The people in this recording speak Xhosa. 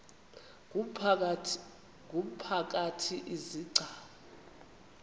ngumphakathi izi gcawu